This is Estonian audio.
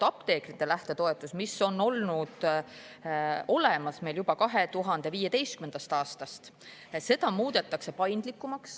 Apteekrite lähtetoetus, mis on olemas olnud juba 2015. aastast, muudetakse paindlikumaks.